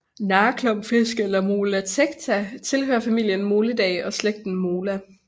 Narreklumpfisk eller Mola tecta tilhører familien Molidae og slægten Mola